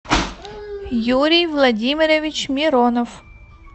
юрий владимирович миронов